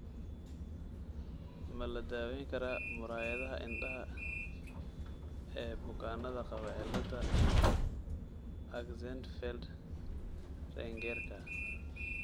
Ma la daweyn karaa muraayadaha indhaha ee bukaannada qaba cilada Axenfeld Riegerka ?